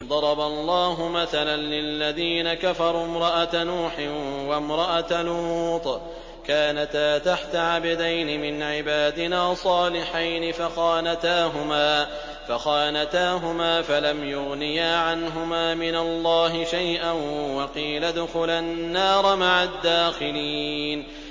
ضَرَبَ اللَّهُ مَثَلًا لِّلَّذِينَ كَفَرُوا امْرَأَتَ نُوحٍ وَامْرَأَتَ لُوطٍ ۖ كَانَتَا تَحْتَ عَبْدَيْنِ مِنْ عِبَادِنَا صَالِحَيْنِ فَخَانَتَاهُمَا فَلَمْ يُغْنِيَا عَنْهُمَا مِنَ اللَّهِ شَيْئًا وَقِيلَ ادْخُلَا النَّارَ مَعَ الدَّاخِلِينَ